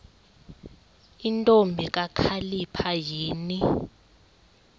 ntombi kakhalipha yini